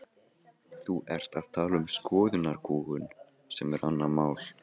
Enginn maður hefur nokkru sinni átt eftirlátari og blíðari unnustu.